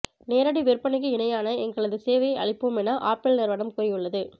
நேரடி விற்பனைக்கு இணையான எங்களது சேவையை அளிப்போம் என ஆப்பிள் நிறுவனம் கூறியுள்ளது